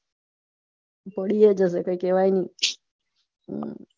પડિએ જશે કઈ કેવાય નય